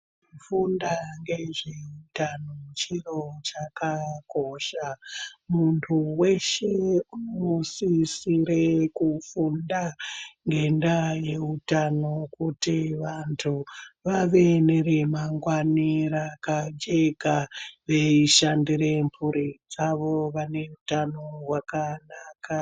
Kufunda ngezveutano chiro chakakosha. Muntu veshe unosisire kufunda ngendaa yeutano kuti vantu vave neremangwani rapajeka, veishandire mhuri dzavo vane utano hwakanaka.